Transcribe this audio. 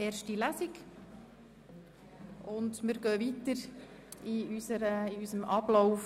Wir fahren fort mit unserem Sitzungsablauf.